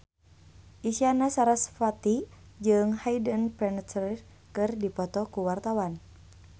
Isyana Sarasvati jeung Hayden Panettiere keur dipoto ku wartawan